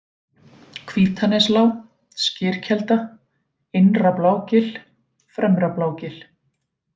Hvítaneslág, Skyrkelda, Innra-Blágil, Fremra-Blágil